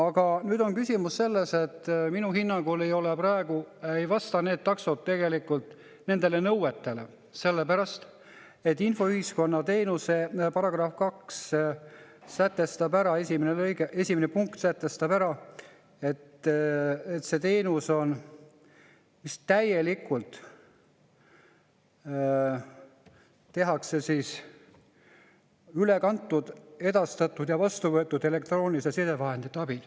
Aga nüüd on küsimus selles, et minu hinnangul ei vasta praegu need taksod tegelikult nendele nõuetele, sellepärast et infoühiskonna teenuse § 2 esimene punkt sätestab ära, et see teenus täielikult üle kantud, edastatud ja vastu võetud elektrooniliste sidevahendite abil.